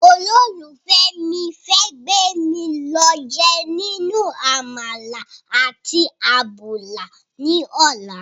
olófùfẹ́ mi fẹ́ gbémi lọ jẹ ninu àmàlà àti àbùlà ní ọ̀la